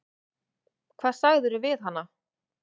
Hvað sagðirðu við hana?